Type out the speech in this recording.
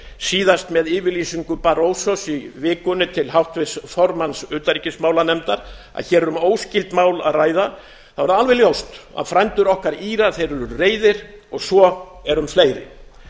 síðast með yfirlýsingu barrosos í vikunni til háttvirts formanns utanríkismálanefndar að hér er um óskyld mál að ræða þá er alveg ljóst að frændur okkar írar eru reiðir og svo er um fleiri